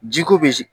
Ji ko be